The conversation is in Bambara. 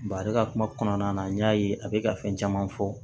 a bɛ ka kuma kɔnɔna na n y'a ye a bɛ ka fɛn caman fɔ